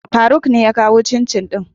Faruk ne ya kawo cincin din.